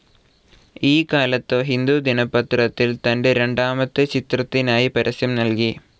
ഈ കാലത്ത് ഹിന്ദു ദിനപത്രത്തിൽ തന്റെ രണ്ടാമത്തെ ചിത്രത്തിനായി പരസ്യം നൽകി.